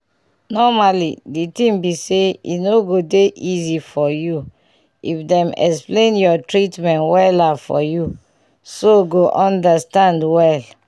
normally di tin be say e go dey easy for u if dem explain ur treatment wella for u so go understand well